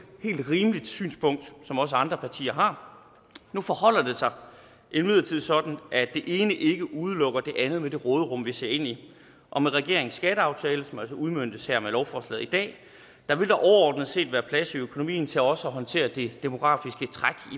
helt rimeligt synspunkt som også andre partier har nu forholder det sig imidlertid sådan at det ene ikke udelukker det andet med det råderum vi ser ind i og med regeringens skatteaftale som altså udmøntes her med lovforslaget i dag vil der overordnet set være plads i økonomien til også at håndtere det demografiske træk